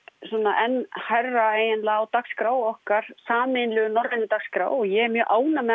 enn hærra á dagskrá okkar sameiginlegu norrænu dagskrá og ég er mjög ánægð með